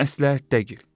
Məsləhətdə gir!